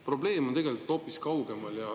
Probleem on tegelikult hoopis kaugemal.